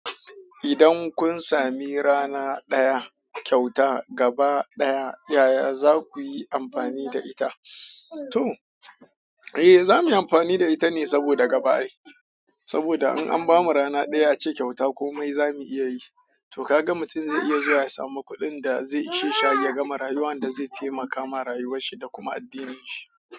Idan kun sami rana ɗaya kyauta gaba ɗaya, yaya za ku yi amfani da ita? To, a zamuyi amfani da ita ne saboda gaba ai. Saboda in an ba mu rana ɗaya a ce kyauta komai za mu iya yi. To ka ga mutum zai iya zuwa ya samu kuɗin da zai ishe shi ya gama rayuwa, da zai taimaka wa rayuwarsa da kuma addininshi.